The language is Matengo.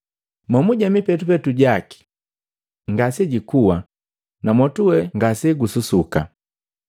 Momuje mipetupetu jaki ngasejikua na mwotu we ngasegususuka.